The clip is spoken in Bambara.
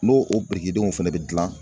N'o o birikidenw fɛnɛ bɛ gilan